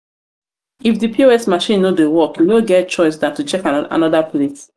if di pos machine no dey work you no get choice than to check anoda place